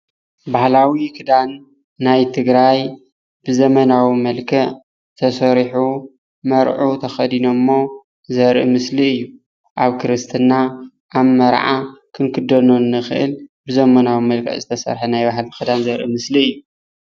ባህላዊ ክዳን ናይ ትግራይ ብዘመናዊ መልክዕ ተሰርሑ መርዑ ተከዲነሞ ዘርኢ ምስል እዩ፡፡ ኣብ ክርስትና፣ ኣብ መርዓ ክንክደኖ እንክእል ብዘመናዊ መልክዕ ዝተሰርሐ ናይ ባህላዊ ክዳን ዘርኢ ምስሊ እዩ፡፡